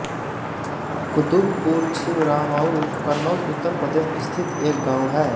कुतुबपुर छिबरामऊ कन्नौज उत्तर प्रदेश स्थित एक गाँव है